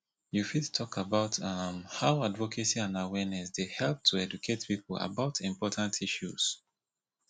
you fit talk about um how advocacy and awareness dey help to educate people about important issues